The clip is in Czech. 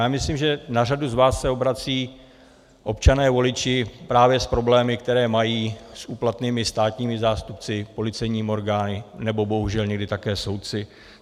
Já myslím, že na řadu z vás se obracejí občané voliči právě s problémy, které mají s úplatnými státními zástupci, policejními orgány nebo bohužel někdy také soudci.